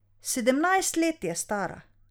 Sedemnajst let je stara.